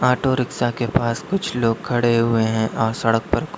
auto rickshaw के पास कुछ लोग खड़े हुए हैं और सड़क पर--